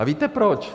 A víte proč?